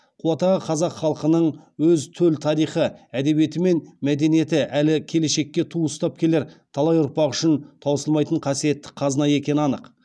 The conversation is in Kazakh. қуат аға қазақ халқының өз төл тарихы әдебиеті мен мәдениеті әлі келешекке ту ұстап келер талай ұрпақ үшін таусылмайтын қасиетті қазына екені анық